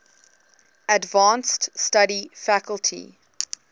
advanced study faculty